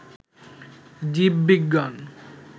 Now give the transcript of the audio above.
জীব বিজ্ঞান